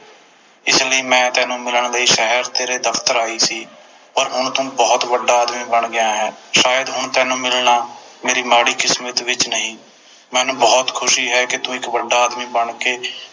ਇਸ ਲਈ ਮੈਂ ਤੈਨੂੰ ਮਿਲਣ ਸ਼ਹਿਰ ਤੇਰੇ ਦਫਤਰ ਆਈ ਸੀ ਪਰ ਹੁਣ ਤੂੰ ਬੋਹੋਤ ਵੱਡਾ ਆਦਮੀ ਬਣ ਗਿਆ ਹੈ ਸ਼ਾਇਦ ਹੁਣ ਤੈਨੂੰ ਮਿਲਣਾ ਮੇਰੀ ਮਾੜੀ ਕਿਸਮਤ ਵਿਚ ਨਹੀਂ ਮੈਨੂੰ ਬੋਹੋਤ ਖੁਸ਼ੀ ਹੈ ਕੇ ਤੂੰ ਇਕ ਵੱਡਾ ਆਦਮੀ ਬਣ ਕੇ